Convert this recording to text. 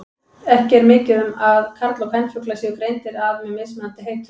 Ekki er mikið um að karl- og kvenfuglar séu greindir að með mismunandi heitum.